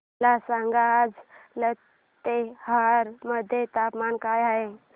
मला सांगा आज लातेहार मध्ये तापमान काय आहे